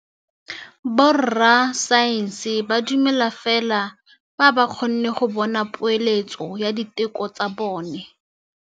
Borra saense ba dumela fela fa ba kgonne go bona poeletsô ya diteko tsa bone.